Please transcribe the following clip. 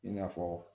I n'a fɔ